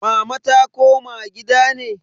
Mama ta koma gida ne?